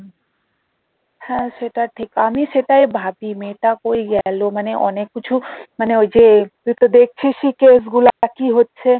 হ্যাঁ সেটা ঠিক আমি সেটাই ভাবি মেয়েটা কই গেলো মানে অনেক কিছু মানে ওই যে তুই তো দেখছিসই কেস গুলা কি হচ্ছে